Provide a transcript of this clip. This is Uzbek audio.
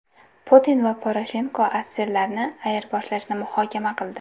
Putin va Poroshenko asirlarni ayirboshlashni muhokama qildi.